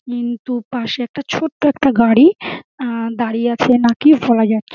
কিন্তু পাশে একটা ছোট্ট একটা গাড়ি আ দাঁড়িয়ে আছে নাকি বলা যা --